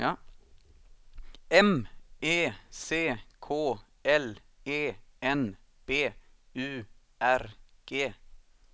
M E C K L E N B U R G